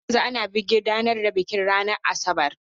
Har yanzu ana gudanar da bikin ranar Asabar.